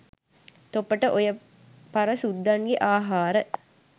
තොපට ඔය පර සුද්දන්ගේ ආහාර